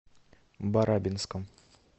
барабинском